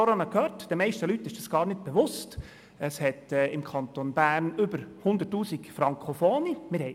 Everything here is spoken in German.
Wie gehört, ist den meisten Leuten gar nicht bewusst, dass es im Kanton Bern über 100 000 Frankofone gibt.